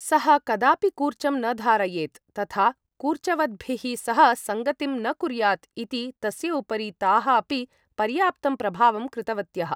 सः कदापि कूर्चं न धारयेत् तथा कूर्चवद्भिः सह सङ्गतिं न कुर्यात् इति तस्य उपरि ताः अपि पर्याप्तं प्रभावं कृतवत्यः।